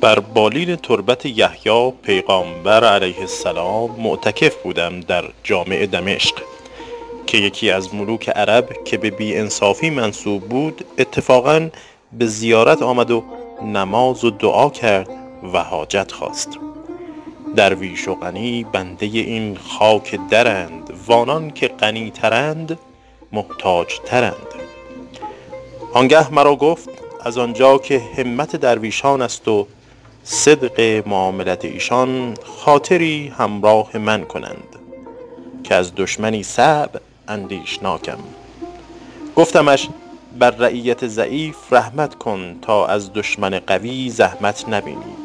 بر بالین تربت یحیی پیغامبر -علیه السلام- معتکف بودم در جامع دمشق که یکی از ملوک عرب که به بی انصافی منسوب بود اتفاقا به زیارت آمد و نماز و دعا کرد و حاجت خواست درویش و غنی بنده این خاک درند و آنان که غنی ترند محتاج ترند آن گه مرا گفت از آن جا که همت درویشان است و صدق معاملت ایشان خاطری همراه من کنید که از دشمنی صعب اندیشناکم گفتمش بر رعیت ضعیف رحمت کن تا از دشمن قوی زحمت نبینی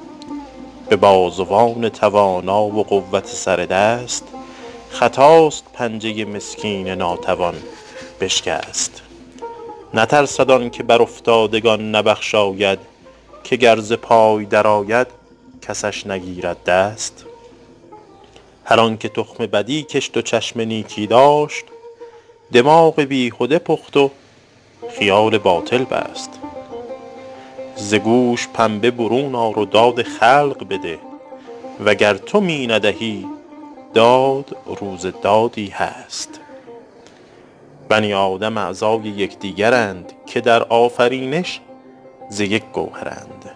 به بازوان توانا و قوت سر دست خطاست پنجه مسکین ناتوان بشکست نترسد آن که بر افتادگان نبخشاید که گر ز پای در آید کسش نگیرد دست هر آن که تخم بدی کشت و چشم نیکی داشت دماغ بیهده پخت و خیال باطل بست ز گوش پنبه برون آر و داد خلق بده وگر تو می ندهی داد روز دادی هست بنی آدم اعضای یکدیگرند که در آفرینش ز یک گوهرند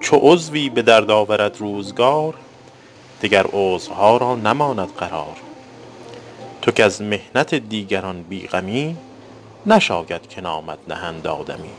چو عضوی به درد آورد روزگار دگر عضوها را نماند قرار تو کز محنت دیگران بی غمی نشاید که نامت نهند آدمی